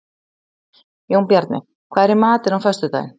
Jónbjarni, hvað er í matinn á föstudaginn?